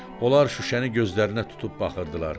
Onlar şüşəni gözlərinə tutub baxırdılar.